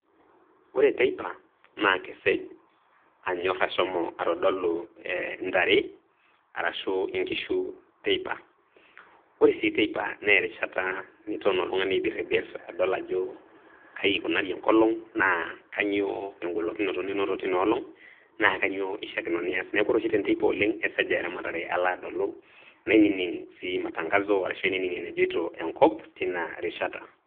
Ore teipa, naa keseli. Anyor ashomo atodolu eh intare arashu inkishu teipa. Ore sii teipa naa erishata niton oltung'ani aibiribir adol ajo kai ikunari enkolong naa kanyoo engolokinoto ninoto tinaolong naa kanyoo eishakino niash, neaku ore oshi te nteipa oleng esaj aa eramatare alo adolu, nainining' sii matangazo arashu ainining' enejoito enkop teina rishata.